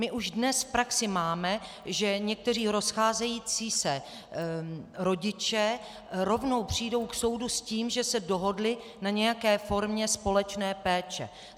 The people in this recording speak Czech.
My už dnes v praxi máme, že někteří rozcházející se rodiče rovnou přijdou k soudu s tím, že se dohodli na nějaké formě společné péče.